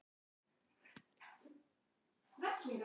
Ég kem og sæki þig!